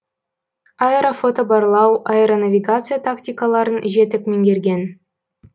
аэрофотобарлау аэронавигация тактикаларын жетік меңгерген